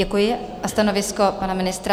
Děkuji a stanovisko pana ministra?